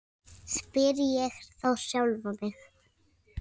spyr ég þá sjálfan mig.